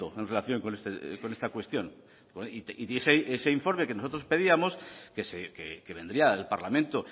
en relación con esta cuestión y ese informe que nosotros pedíamos que vendría al parlamento